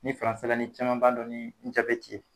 Ni la ni caman b'a dɔn ni ye